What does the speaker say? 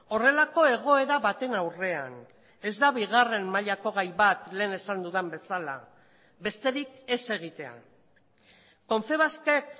horrelako egoera baten aurrean ez da bigarren mailako gai bat lehen esan dudan bezala besterik ez egitea confebaskek